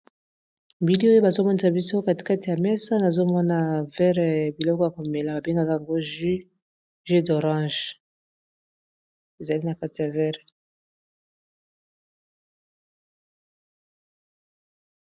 bili oyo bazomonesa biso katikate ya mesa nazomona verre biloko ya komela babengaka go u ju d'orange ezali na kati ya verre